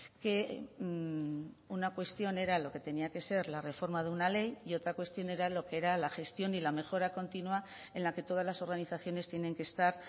que una cuestión era lo que tenía que ser la reforma de una ley y otra cuestión era lo que era la gestión y la mejora continua en la que todas las organizaciones tienen que estar